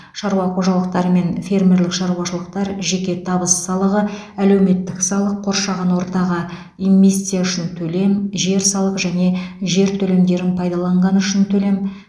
шаруа қожалықтары мен фермерлік шаруашылықтар жеке табыс салығы әлеуметтік салық қоршаған ортаға эмисстя үшін төлем жер салығы және жер телімдерін пайдаланғаны үшін төлем